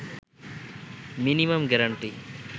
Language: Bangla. minimum guarantee